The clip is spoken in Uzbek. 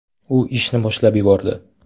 U ishni boshlab yubordi.